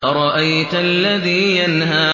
أَرَأَيْتَ الَّذِي يَنْهَىٰ